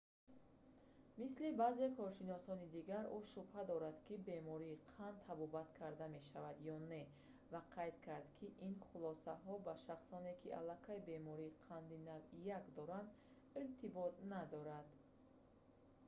мисли баъзе коршиносони дигар ӯ шубҳа дорад ки бемории қанд табобат карда мешавад ё не ва қайд кард ки ин хулосаҳо ба шахсоне ки аллакай бемории қанди навъи 1 доранд иртибот надоранд